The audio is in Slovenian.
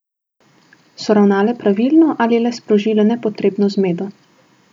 So ravnale pravilno ali le sprožile nepotrebno zmedo?